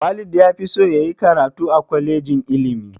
Walid ya fi so ya yi karatu a kwalejin ilimi